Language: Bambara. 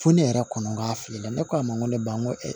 Fo ne yɛrɛ kɔni k'a fili la ne k'a ma ko ne ba ko